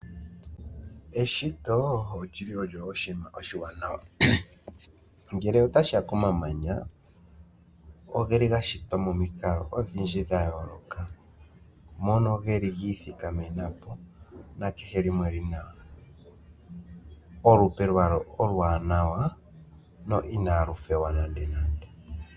Eshito olyo oshinima oshiwanawa. Ngele otashiya komamanya, ogeli ga shitwa momikalo odhindji dha yooloka, mono geli giithikamena po, nakehe limwe olina olupe lwalyo oluwanawa, no inalu fewa nando nando.